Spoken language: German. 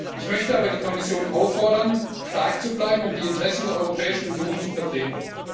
Ich möchte aber die Kommission auffordern, stark zu bleiben, um die Interessen der Europäischen Union zu vertreten.